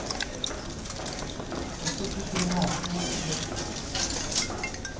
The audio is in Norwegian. Også de tre æsene hjelper til.